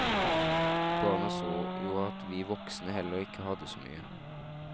Barna så jo at vi voksne heller ikke hadde så mye.